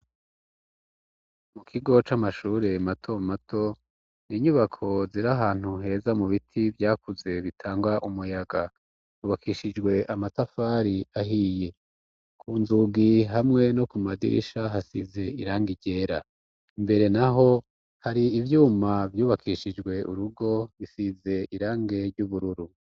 Mu kigo c' amashure mato mato ni inyubako zira ahantu heza mu biti vyakuze bitangwa umuyaga ubakishijwe amatafari ahiye ku nzugi hamwe no ku madirisha hasize iranga ryera mbere na ho hari ivyuma vyubakishijwe urugo bisize irange ry'ubururu.